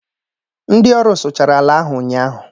ndị ọrụ sụchara ala ahu ụnyaahụ